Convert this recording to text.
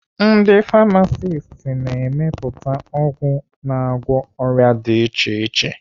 Ndi famasist na-emepụta ọgwụ na-agwọ ọrịa dị iche iche.